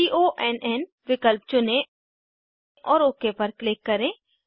cone विकल्प चुनें और ओक पर क्लिक करें